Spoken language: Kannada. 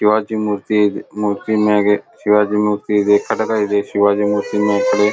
ಶಿವಾಜಿ ಮೂರ್ತಿ ಮೂರ್ತಿ ಮ್ಯಾಗೆ ಶಿವಾಜಿ ಮೂರ್ತಿ ಇದೆ ಖಡ್ಗ ಇದೆ ಶಿವಾಜಿ ಮೂರ್ತಿ .]